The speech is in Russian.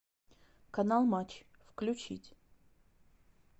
канал матч включить